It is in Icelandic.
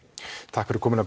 takk fyrir komuna